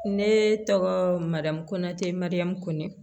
Ne tɔgɔ madamu ko natɛ marik